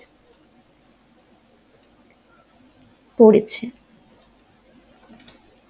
পড়েছে।